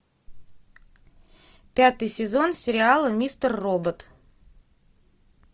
пятый сезон сериала мистер робот